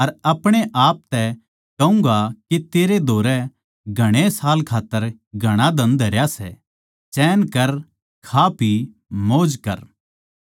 अर अपणे आप तै कहूँगा के तेरै धोरै घणे साल खात्तर घणा धन धरया सै चैन कर खा पी मौज कर